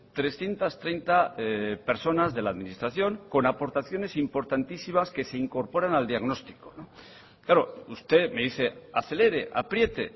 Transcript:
trescientos treinta personas de la administración con aportaciones importantísimas que se incorporan al diagnóstico claro usted me dice acelere apriete